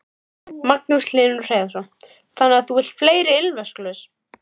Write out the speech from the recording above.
Magnús Hlynur Hreiðarsson: Þannig að þú vilt fleiri ilmvatnsglös?